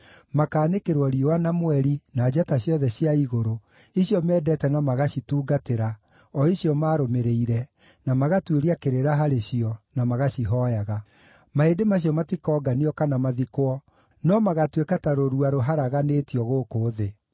Makaanĩkĩrwo riũa, na mweri, na njata ciothe cia igũrũ, icio mendete na magacitungatĩra, o icio maarũmĩrĩire, na magatuĩria kĩrĩra harĩ cio, na magacihooya. Mahĩndĩ macio matikoonganio kana mathikwo, no magaatuĩka ta rũrua rũharaganĩtio gũkũ thĩ.